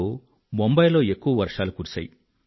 2005లో ముంబయి లో ఎక్కువ వర్షాలు కురిశాయి